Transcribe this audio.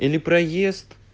или проезд